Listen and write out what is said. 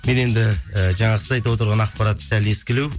мен енді і жаңағы сіз айтып отырған ақпарат сәл ескілеу